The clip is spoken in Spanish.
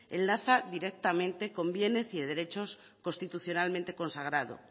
enlaza directamente con bienes y derechos constitucionalmente consagrados